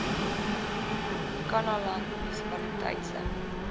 kannaland munisipaliteit se